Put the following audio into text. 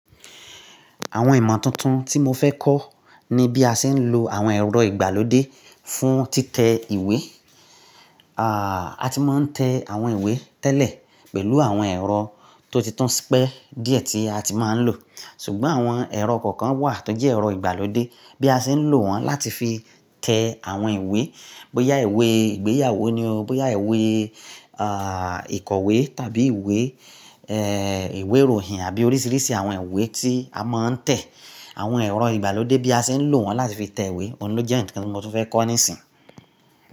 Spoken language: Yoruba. Àwọn ìmọ̀ tuntun tí mo fẹ́ kọ́ ni bí a ṣe ń lo àwọn ẹ̀rọ ìgbàlódé fún títẹ ìwé. Aà, a ti máa ń tẹ àwọn ìwé tẹ́lẹ̀ pẹ̀lú àwọn ẹ̀rọ tó títún pẹ́ díẹ̀ tí a ti máa ń lò. Ṣùgbọ́n àwọn ẹ̀rọ kọ̀ọ̀kan wà tó jẹ́ ẹ̀rọ ìgbàlódé bí a ṣe ń lò wọ́n láti fi tẹ àwọn ìwé, bóyá ìwé ìgbéyàwó ni o, bóyá ìwé, à, ìkọ̀wé tàbí ìwé, ẹ, ìwé ìròhìn àbí oríṣiríṣi àwọn ìwé tí a máa ń tẹ̀. Àwọn ẹ̀rọ ìgbàlódé bí a ṣe ń lò wọ́n láti fi tẹ ìwé, òun ni ó jẹ́ ǹkan tí mo fẹ́ kọ́ nísìnyí.